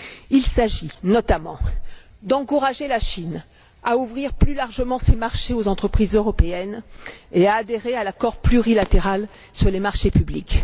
Il s'agit notamment d'encourager la Chine à ouvrir plus largement ses marchés aux entreprises européennes et à adhérer à l'accord plurilatéral sur les marchés publics.